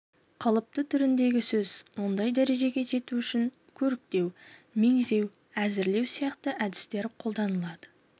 қалыпты түріндегі сөз ондай дәрежеге жету үшін көріктеу меңзеу әсірелеу сияқты әдістер қолданылады